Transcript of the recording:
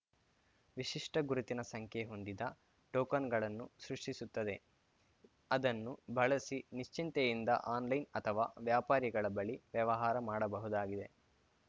ವಿಶಿಷ್ಟಗುರುತಿನ ಸಂಖ್ಯೆ ಹೊಂದಿದ ಟೋಕನ್‌ಗಳನ್ನು ಸೃಷ್ಟಿಸುತ್ತದೆ ಅದನ್ನು ಬಳಸಿ ನಿಶ್ಚಿಂತೆಯಿಂದ ಆನ್‌ಲೈನ್‌ ಅಥವಾ ವ್ಯಾಪಾರಿಗಳ ಬಳಿ ವ್ಯವಹಾರ ಮಾಡಬಹುದಾಗಿದೆ